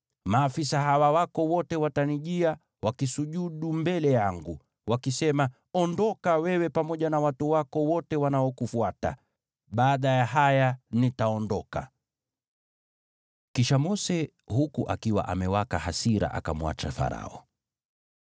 Maafisa hawa wako wote watanijia, wakisujudu mbele yangu, wakisema, ‘Ondoka, wewe pamoja na watu wako wote wanaokufuata!’ Baada ya haya nitaondoka.” Kisha Mose, huku akiwa amewaka hasira, akamwacha Farao.